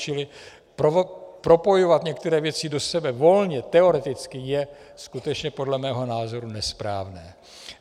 Čili propojovat některé věci do sebe volně teoreticky je skutečně podle mého názoru nesprávné.